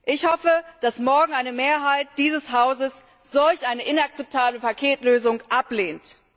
Ich hoffe, dass morgen eine Mehrheit dieses Hauses solch eine inakzeptable Paketlösung ablehnt.